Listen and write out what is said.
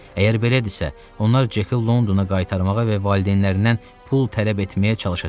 Əgər belədirsə, onlar Ceki Londona qaytarmağa və valideynlərindən pul tələb etməyə çalışacaqlar.